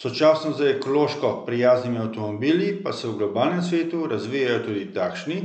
Sočasno z ekološko prijaznimi avtomobili pa se v globalnem svetu razvijajo tudi takšni,